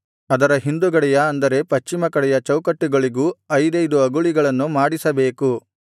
ಅದರ ಹಿಂದುಗಡೆಯ ಅಂದರೆ ಪಶ್ಚಿಮ ಕಡೆಯ ಚೌಕಟ್ಟುಗಳಿಗೂ ಐದೈದು ಅಗುಳಿಗಳನ್ನು ಮಾಡಿಸಬೇಕು